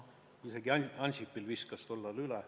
Isegi Ansipil viskas tol ajal üle.